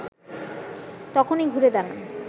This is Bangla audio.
তখনই ঘুরে দাঁড়ান